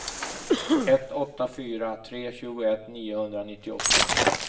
ett åtta fyra tre tjugoett niohundranittioåtta